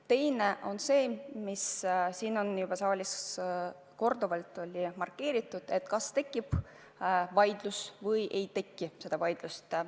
Teine on see, mida siin saalis on juba korduvalt markeeritud: kas tekib vaidlus või ei teki vaidlust.